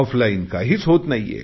offline काहीच होत नाही